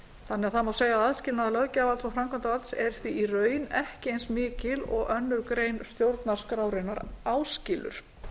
þannig að það má segja að aðskilnaður löggjafarvalds og framkvæmdarvalds er því í raun ekki eins mikill og aðra grein stjórnarskrárinnar áskilur